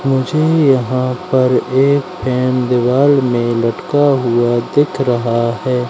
मुझे यहां पर एक पेन दीवाल में लटका हुआ दिख रहा है।